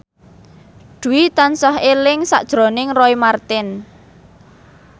Dwi tansah eling sakjroning Roy Marten